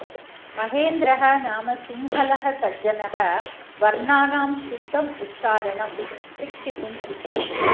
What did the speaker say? महेन्द्रः नाम सिंहलः सज्जनः वर्णानां शुद्धम् उच्चारणं शिक्षितुम् इच्छति